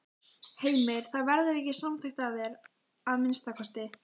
Heimir: Það verður ekki samþykkt af þér, að minnsta kosti?